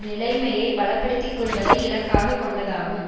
நிலைமையை பலப்படுத்திக்கொள்வதை இலக்காக கொண்டதாகும்